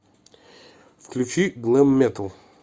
включи глэм метал